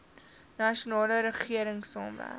nasionale regering saamwerk